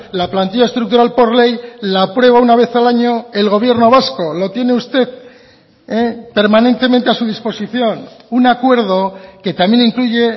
la plantilla estructural por ley la aprueba una vez al año el gobierno vasco lo tiene usted permanentemente a su disposición un acuerdo que también incluye